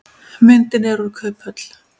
Myndin er úr kauphöll.